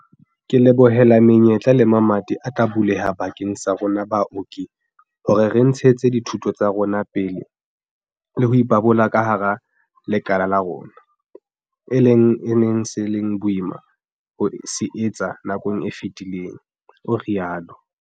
"Ke lebohela menyetla le mamati a tla buleha bakeng sa rona baoki hore re ntshetse dithuto tsa rona pele le ho ipabola ka hara lekala la rona, e leng se neng se le boima ho se etsa nakong e fetileng," o rialo.